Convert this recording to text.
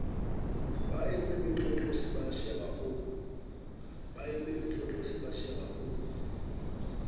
baeme matlotlosia ba seba o